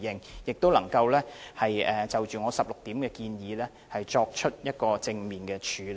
我亦希望當局能夠就我提出的16點建議，作出正面處理。